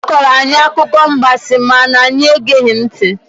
Ọ kọọrọ anyị akụkọ mgbansi ma na anyị egeghị ntị.